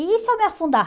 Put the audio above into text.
E se eu me afundar.